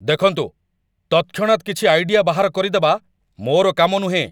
ଦେଖନ୍ତୁ, ତତ୍‌କ୍ଷଣାତ୍ କିଛି ଆଇଡ଼ିଆ ବାହାର କରିଦେବା ମୋର କାମ ନୁହେଁ।